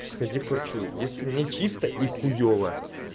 сходи к врачу если нечисто и хуёво